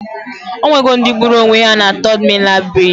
Onwe go ndi gburu onwe ha na Third Mainland Bridge